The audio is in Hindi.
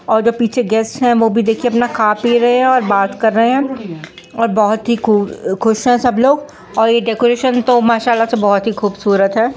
और जो पीछे वो गेस्ट है वो भी देखिए अपना खा पी रहे है और बात कर रहे हैं और बहुत ही खूब खुश है सब लोग और ये डेकोरेशन तो माशा अल्लाह बहुत ही खूबसूरत हैं।